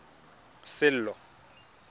sello